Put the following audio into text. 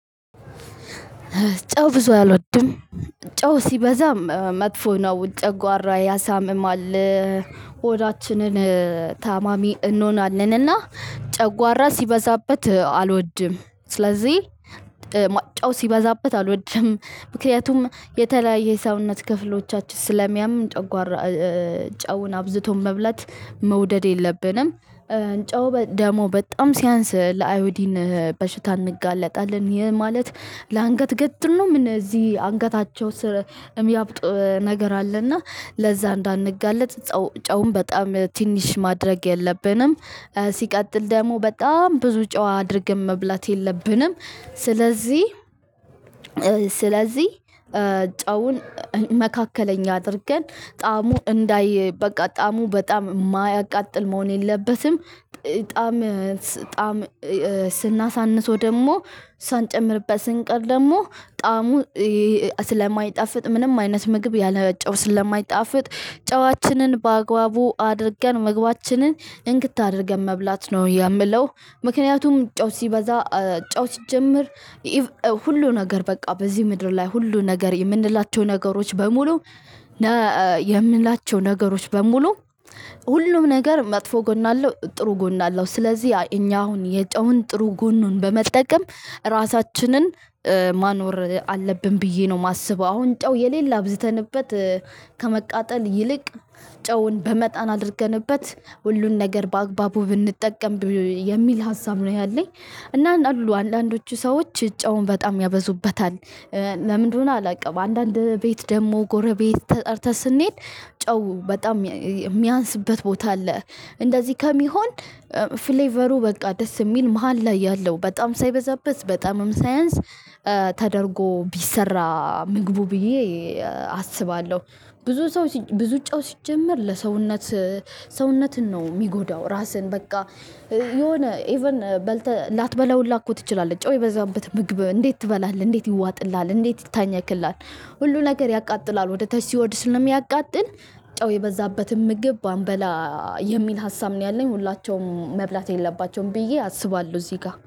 ጨው ብዙ አልወድም። ጨው ሲበዛ መጥፎ ነው። ጨጓራ ያሳምማል ሆዳችንን ታማሚ እንሆናለንና ጨጓራ ሲበዛበት አልወድም ስለዚህ ጫው ሲበዛበት አልወድም። ምክንያቱም የተለያየ የሰውነት ክፍሎቻችን ስለሚያም ጠጓራ ጨውን አብዝቶን መብላት መውደድ የለብንም። ጨው ደግሞ በጣም ሲያንስ ለአዮዲን በሽታ እንጋለጣለን። ይሄ ማለት ለአንገት ገትር ነው ምን እዚህ አንገታቸው ስር የሚያብጡ ነገር አለና ለዛ እንዳንጋለጥ ጨውም በጣም ትንሽ ማድረግ የለብንም ሲቀጥል ደግሞ በጣም ብዙ ጨው አድርገን መብላት የለብንም። ስለዚህ ስለዚህ ጫውን መካከለኛ አድርገን ጣዕሙ እንዳይ በቃ ጣዕሙ በጣም የማያቃጥል መሆን የለበትም ጣዕም ጣዕም ስናሳንሰው ደግሞ ሳንጨምርበት ስንቀር ደግሞ ጣዕሙ ስለማይጣፍጥ ምንም አይነት ምግብ ያለ ጨው ስለማይጣፍጥ ጨዋችንን በአግባቡ አድርገን ምግባችንን እንክት አድርገን መብላት ነው የምለው ምክንያቱም ጨው ሲበዛ ጨው ሲጀምር ሁሉ ነገር በቃ በዚህ ምድር ላይ ሁሉ ነገር የምንላቸው ነገሮች በሙሉ የምንላቸው ነገሮች በሙሉ ሁሉም ነገር መጥፎ ጎን አለው ጥሩ ጎን አለው። ስለዚህ እኛ አሁን የጨውን ጥሩ ጎኑን በመጠቀም ራሳችንን ማኖር አለብን ብዬ ነው ማስበው። አሁን ጨው የሌለ አብዝተንበት ከመቃጠል ይልቅ ጨውን በመጣን አድርገንበት ሁሉን ነገር በአግባቡ ብንጠቀም የሚል ሀሳብ ነው ያለኝ። እና አሉ አንዳንዶቹ ሰዎች ጨውን በጣም ያበዙበታል። ለምንድነው አላውቅም አንዳንድ ቤት ደግሞ ጎረቤት ተጠርተህ ስንሄድ ጨው በጣም ሚያንስበት ቦታ አለ። እንደዚህ ከሚሆን ፍሌቨሩ በቃ ደስ የሚል መሃል ላይ ያለው በጣም ሳይበዛበት በጣምም ሳይንስ ተደርጎ ቢሰራ ምግቡ ብዬ አስባለሁ። ብዙ ሰው ብዙ ጨው ሲጀመር ለሰውነት ሰውነትን ነው ሚጎዳው ራስህን በቃ የሆነ ኢቭን በልተህ ላትበላው ሁለ እኮ ትችላለህ። ጨው የበዛበት ምግብ እንዴት ትበላለህ? እንዴት ይዋጥልሃል? እንዴት ይታኛክልሀል? ሁሉ ነገር ያቃጥላል። ወደ ታች ሲወርድ ስለሚያቃጥል ጨው የበዛበትም ምግብ ባንበላ የሚል ሀሳብ ነው ያለኝ ሁላቸውም መብላት የለባቸውም ብዬ አስባለሁ እዚህ ጋ